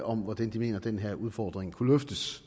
om hvordan de mener at den her udfordring kunne løftes